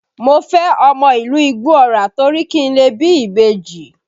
Mo fẹ́ ọmọ ìlú Igbó Ọrà torí kí n lè bí ìbejì